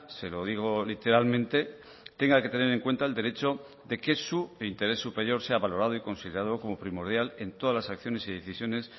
se lo digo literalmente tenga que tener en cuenta el derecho de que su interés superior sea valorado y considerado como primordial en todas las acciones y decisiones